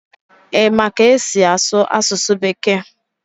Ị ma ka esi asụ asụsụ bekee?